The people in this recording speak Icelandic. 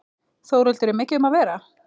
Þórhildur, er mikið um að vera?